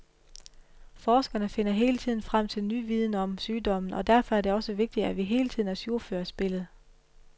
Forskerne finder hele tiden frem til ny viden om sygdommen og derfor er det også vigtigt, at vi hele tiden ajourfører spillet.